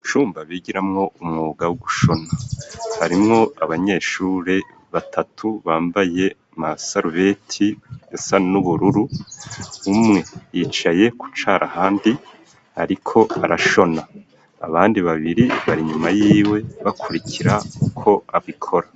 Icumba bigiramwo umwuga wo gushona harimwo abanyeshuri batatu bambaye masarubeti asa n'ubururu umwe yicaye kucara handi ariko arashona abandi babiri bari nyuma yiwe bakurikira ko abikora